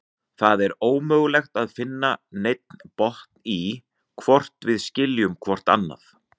Það er ómögulegt að finna neinn botn í, hvort við skiljum hvort annað.